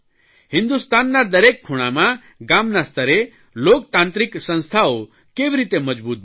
હિંદુસ્તાનના દરેક ખૂણામાં ગામના સ્તરે લોકતાંત્રિક સંસ્થાઓ કેવી રીતે મજબૂત બને